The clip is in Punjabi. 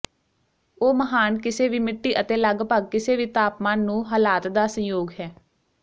ਉਹ ਮਹਾਨ ਕਿਸੇ ਵੀ ਮਿੱਟੀ ਅਤੇ ਲਗਭਗ ਕਿਸੇ ਵੀ ਤਾਪਮਾਨ ਨੂੰ ਹਾਲਾਤ ਦਾ ਸੰਯੋਗ ਹੈ